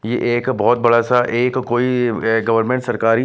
ये एक बहुत बड़ासा एक कोई अ गर्वनमेंट सरकारी--